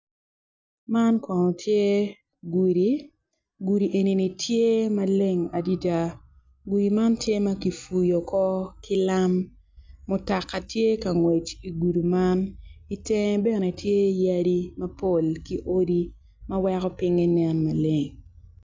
Man kono tye gudi gudi enini tye maleng adada gudi man tye ma kipuyo oko ki lam mutoka tye ka ngwec igudi man itenge bene tye yadi mapol ki odi ma weko pinynye nen maleng.